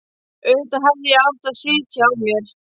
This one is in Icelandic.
Auðvitað hefði ég átt að sitja á mér.